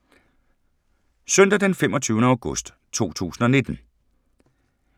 Søndag d. 25. august 2019